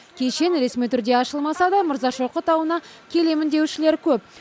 кешен ресми түрде ашылмаса да мырзашоқы тауына келемін деушілер көп